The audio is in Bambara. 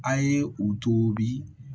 A ye u to bi